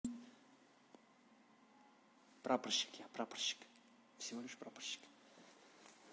прапорщики прапорщик всего лишь прапорщики